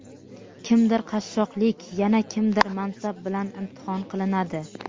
kimdir qashshoqlik yana kimdir mansab bilan imtihon qilinadi.